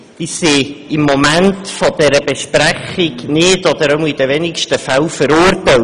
Sie sind im Moment dieser Besprechung nicht oder nur in den wenigsten Fällen verurteilt.